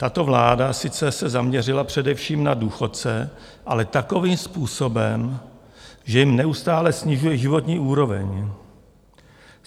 Tato vláda sice se zaměřila především na důchodce, ale takovým způsobem, že jim neustále snižuje životní úroveň.